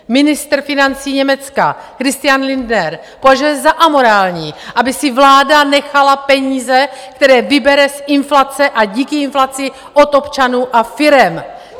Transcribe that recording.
Ministr financí Německa Christian Lindner považuje za amorální, aby si vláda nechala peníze, které vybere z inflace a díky inflaci od občanů a firem.